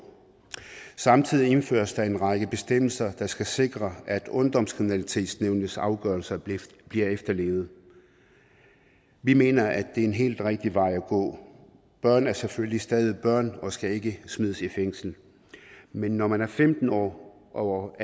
samtidig indføres der en række bestemmelser der skal sikre at ungdomskriminalitetsnævnets afgørelser bliver efterlevet vi mener at det er en helt rigtig vej at gå børn er selvfølgelig stadig børn og skal ikke smides i fængsel men når man er femten år og